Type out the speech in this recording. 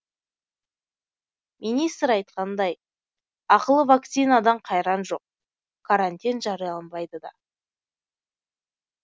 министр айтқандай ақылы вакцинадан қайран жоқ карантин жарияланбайды да